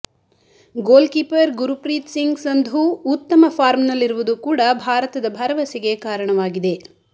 goalkeeper Gurpreet Singh Sandhu ಉತ್ತಮ ಫಾರ್ಮ್ನಲ್ಲಿರುವುದು ಕೂಡ ಭಾರತದ ಭರವಸೆಗೆ ಕಾರಣವಾಗಿದೆ